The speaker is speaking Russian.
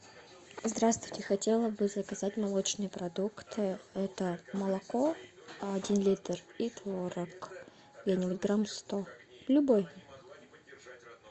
здравствуйте хотела бы заказать молочные продукты это молоко один литр и творог грамм сто любой